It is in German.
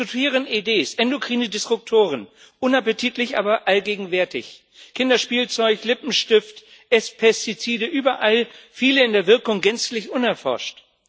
Wir diskutieren EDs, endokrine Disruptoren unappetitlich, aber allgegenwärtig Kinderspielzeug, Lippenstift, S Pestizide, überall viele in der Wirkung gänzlich unerforscht.